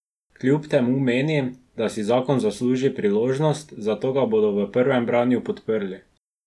Kljub temu meni, da si zakon zasluži priložnost, zato ga bodo v prvem branju podprli.